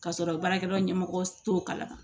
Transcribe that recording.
K'a sɔrɔ baarakɛyɔrɔ ɲɛmɔgɔ t'o kalama